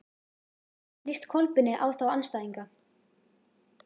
Hvernig líst Kolbeini á þá andstæðinga?